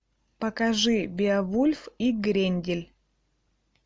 покажи беовульф и грендель